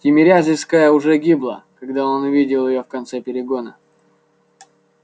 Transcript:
тимирязевская уже гибла когда он увидел её в конце перегона